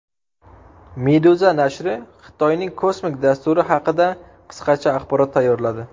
Meduza nashri Xitoyning kosmik dasturi haqida qisqacha axborot tayyorladi .